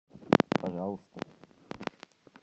пожалуйста